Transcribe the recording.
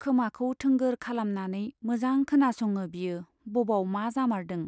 खोमाखौ थोंगोर खालामनानै मोजां खोनासङो बियो बबाव मा जामारदों।